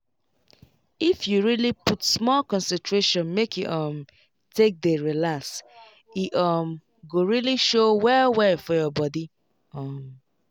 if you really put small concentration make you um take dey relax e um go really show well well for your body um